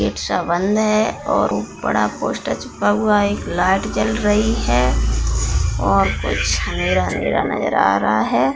Gate सा बंद है और बड़ा सा पोस्टर चिपका हुआ है एक लाइट जल रही है और कुछ अँधेरा-अँधेरा नजर आ रहा है।